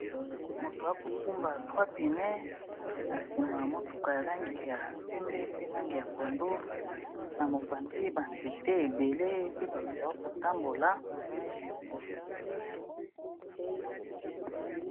Mutu ako kumba trois pneus, na sima ya motuka ya langi ya pembe, pe langi ya pondu, na mopanzi, ba nzete ébélé pe bato bako tambola .